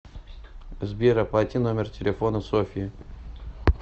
сбер оплати номер телефона софьи